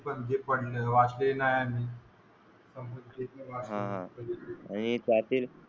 पडलेत तसेच वाचले नाही हा आणि,